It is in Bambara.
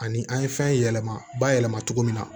Ani an ye fɛn yɛlɛma bayɛlɛma cogo min na